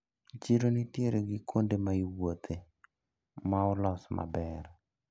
Chiro nitiere gi kuonde maiwuothe maolos maber.